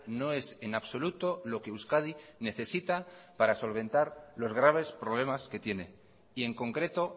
no es en absoluto lo que euskadi necesita para solventar los graves problemas que tiene y en concreto